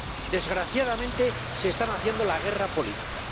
Desgraciadamente se están haciendo la guerra política.